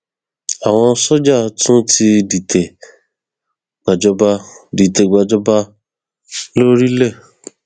àwọn sójà tún ti dìtẹ gbàjọba dìtẹ gbàjọba lórílẹ